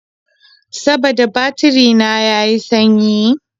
Saboda batiri na ya yi sanyi.